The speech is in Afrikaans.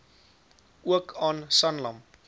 ook aan sanlam